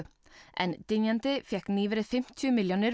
en dynjandi fékk nýverið fimmtíu milljónir